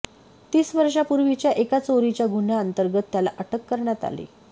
तीस वर्षांपूर्वीच्या एका चोरीच्या गुन्ह्याअंतर्गत त्याला अटक करण्यात आली